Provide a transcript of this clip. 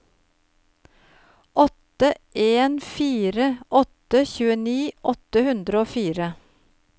åtte en fire åtte tjueni åtte hundre og fire